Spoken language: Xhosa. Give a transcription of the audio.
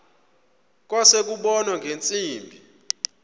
kwase kubonwa ngeentsimbi